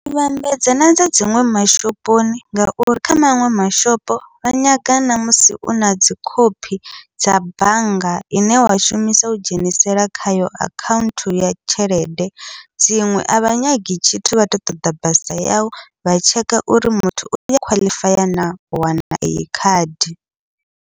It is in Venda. U vhambedza na dza dziṅwe mashoponi, ngauri kha maṅwe mashopo vha nyaga na musi u nadzi khophi dza bannga ine wa shumisa u dzhenisela khayo akhaunthu ya tshelede, dziṅwe avha nyagi tshithu vha ṱoḓa basa yau vha tsheka uri muthu uya khwaḽifaya na u wana eyi khadi.